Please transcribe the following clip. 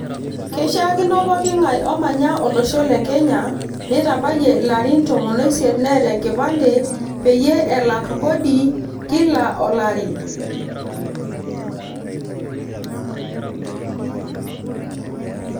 keishakino poking`ae omanya olosho le kenya netabayie ilarin tomon oisiet neeta enkipande peyie elak kodi kila olari.